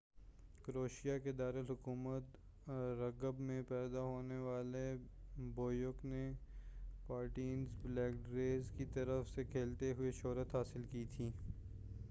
کروشیا کے دارالحکومت زغرب میں پیدا ہونے والے بوبیک نے پارٹیزن بیلگریڈ کی طرف سے کھیلتے ہوئے شہرت حاصل کی تھی